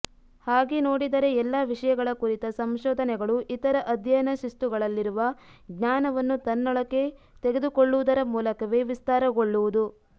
ಹಾಗೆ ನೋಡಿದರೆ ಎಲ್ಲಾ ವಿಷಯಗಳ ಕುರಿತ ಸಂಶೋಧನೆಗಳೂ ಇತರ ಅಧ್ಯಯನ ಶಿಸ್ತುಗಳಲ್ಲಿರುವ ಜ್ಞಾನವನ್ನು ತನ್ನೊಳಕ್ಕೆ ತೆಗೆದುಕೊಳ್ಳುವುದರ ಮೂಲಕವೇ ವಿಸ್ತಾರಗೊಳ್ಳುವುದು